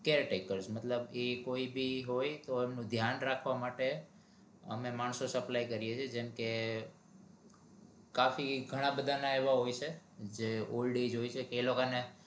caretaker મતલબ કઈ બી હોય તો એમનું ધ્યાન રાખવા માટે અમે માણસો supply કરીએ છીએ જેમ કે કાફી ઘણા બધાના એવા હોય છે જે old age હોય છે કે એ લોકો ને